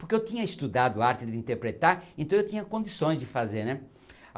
Porque eu tinha estudado arte de interpretar, então eu tinha condições de fazer, né.